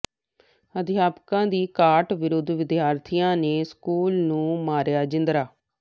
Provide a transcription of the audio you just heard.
ਅਧਿਆਪਕਾਂ ਦੀ ਘਾਟ ਵਿਰੁੱਧ ਵਿਦਿਆਰਥੀਆਂ ਨੇ ਸਕੂਲ ਨੂੰ ਮਾਰਿਆ ਜਿੰਦਰਾ